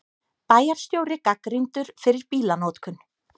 Bæjarstjóri gagnrýndur fyrir bílanotkun